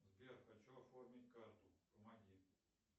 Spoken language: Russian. сбер хочу оформить карту помоги